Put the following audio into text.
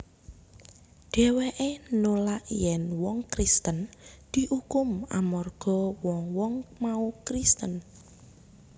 Dhèwèké nulak yèn wong Kristen diukum amarga wong wong mau Kristen